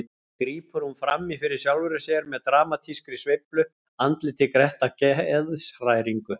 grípur hún fram í fyrir sjálfri sér með dramatískri sveiflu, andlitið grett af geðshræringu.